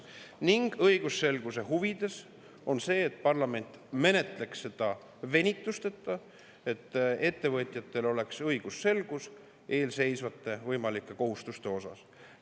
Ning õigusselguse huvides on see, et parlament menetleks seda venitusteta, et ettevõtjatel oleks õigusselgus eelseisvate võimalike kohustuste osas.